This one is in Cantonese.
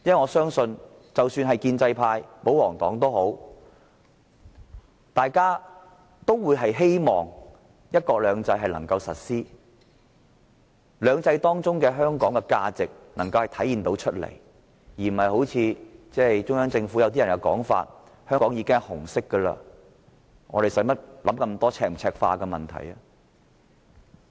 我相信，即使是建制派或保皇黨，都希望"一國兩制"能夠落實，使"兩制"中的香港能夠體現其價值，而不是如同中央政府某些官員所說，香港本來就是紅色，何須多想赤化與否的問題。